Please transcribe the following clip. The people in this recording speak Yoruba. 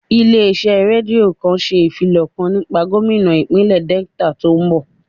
Ilé iṣẹ́ rédíò kan ṣe ìfilọ̀ kan nípa gómínà ìpínlè Delta tí ó ń bọ̀